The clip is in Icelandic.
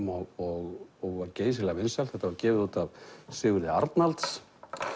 og var geysilega vinsælt þetta var gefið út af Sigurði Arnalds